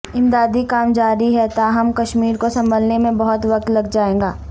امدادی کام جاری ہے تاہم کشمیر کو سنبھلنے میں بہت وقت لگ جائے گا